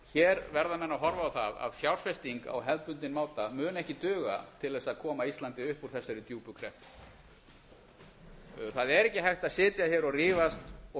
hér verða menn að horfa á á að fjárfesting á hefðbundinn máta mun ekki duga til þess að koma íslandi upp úr þessari djúpu kreppu það er ekki hægt að sitja hér og rífast og